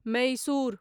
Mysore